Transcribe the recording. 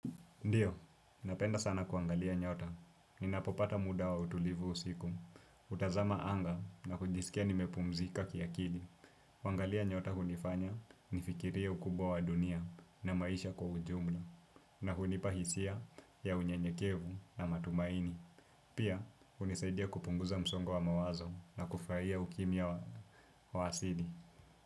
Ndiyo, napenda sana kuangalia nyota, ninapopata muda wa utulivu usiku, hutazama anga na kujisikia nimepumzika kia kili kuangalia nyota hunifanya nifikirie ukubwa wa dunia na maisha kwa ujumla na hunipa hisia ya unyenyekevu na matumaini. Pia, hunisaidia kupunguza msongo wa mawazo na kufurahia ukimya wa asili.